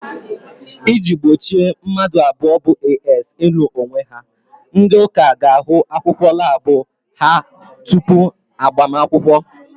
I ji gbochi mmadụ abụọ bụ "AS" ịnụ onwe ha, ndị ụka ga ahụ akwụkwọ labu ha tupu agbamakwụkwọ